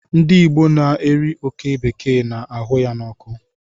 Ndị Igbo na-eri oké bekee na-ahụ ya n'ọkụ.